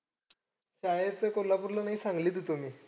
शाळेत ते कोल्हापूरला नाही सांगलीत होतो मी.